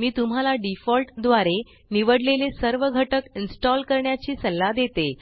मी तुम्हाला डिफॉल्ट द्वारे निवडलेले सर्व घटक इन्स्टॉल करण्याची सल्ला देते